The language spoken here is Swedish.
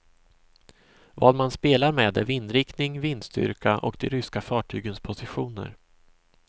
Vad man spelar med är vindriktning, vindstyrka och de ryska fartygens positioner.